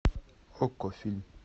окко фильм